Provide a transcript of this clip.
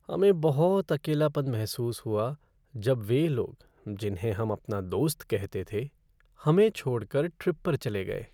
हमें बहुत अकेलापन महसूस हुआ जब वे लोग जिन्हें हम अपना दोस्त कहते थे, हमें छोड़कर ट्रिप पर चले गए।